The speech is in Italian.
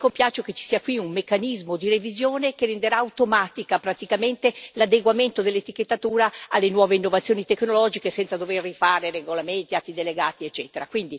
Mi compiaccio che ci sia qui un meccanismo di revisione che renderà automatico praticamente l'adeguamento dell'etichettatura alle nuove innovazioni tecnologiche, senza dover rifare regolamenti, atti delegati, eccetera.